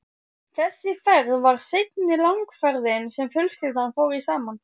Þessi ferð var seinni langferðin sem fjölskyldan fór í saman.